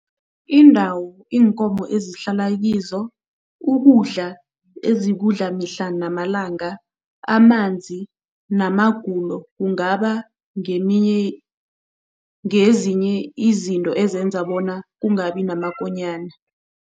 Iindawo iinkomo ezihlala kizo, ukudla ezikudla mihla namalanga, amanzi namagulo kungaba ngeminye ngezinye izinto ezenza bona kungabi namakonyana.